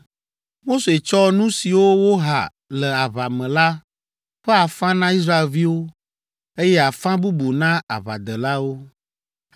Mose tsɔ nu siwo woha le aʋa me la ƒe afã na Israelviwo eye afã bubu na aʋadelawo.